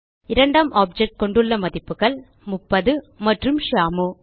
இரண்டாம் ஆப்ஜெக்ட் கொண்டுள்ள மதிப்புகள் 30 மற்றும் ஷியாமு